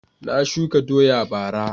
Na shuka doya bara